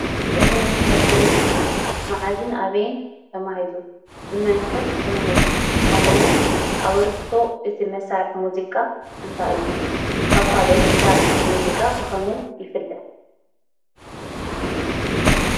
እዚ መሳርሒ ሙዚቃ መዓዝን ኣበይን ተማሂዙ? ብመን ከ ተማሂዙ? ከምኡ እውን ኣበርክቶ እቲ መሳርሒ ሙዚቃ እንታይ እዩ ?ካብ ካልኦት መሳርሒታት ሙዚቃ ብከመይ ይፍለ ?